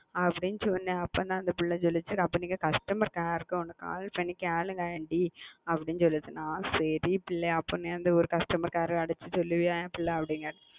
அப்போ அந்த புள்ள சொல்லுச்சு நீங்க costamar care call பண்ணி கேளுங்க சொல்லுச்சு சரினு சொல்லி இப்போ உங்களுக்கு call பண்ண